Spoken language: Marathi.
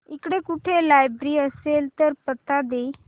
इकडे कुठे लायब्रेरी असेल तर पत्ता दे